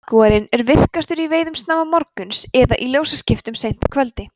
jagúarinn er virkastur í veiðum snemma morguns eða í ljósaskiptum seint að kvöldi